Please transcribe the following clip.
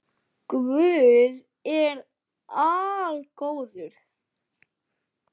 Guð er algóður